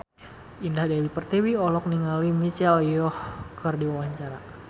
Indah Dewi Pertiwi olohok ningali Michelle Yeoh keur diwawancara